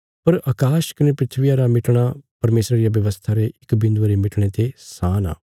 पर अकाश कने धरतिया रा मिटणा परमेशरा रिया व्यवस्था रे इक बिन्दुये रे मिटणे ते सान आ